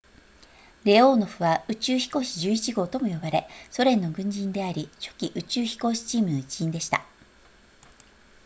レオーノフは宇宙飛行士11号とも呼ばれソ連の軍人であり初期宇宙飛行士チームの一員でした